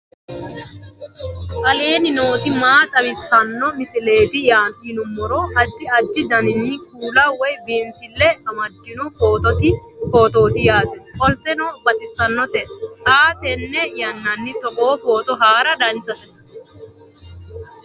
aleenni nooti maa xawisanno misileeti yinummoro addi addi dananna kuula woy biinsille amaddino footooti yaate qoltenno baxissannote xa tenne yannanni togoo footo haara danchate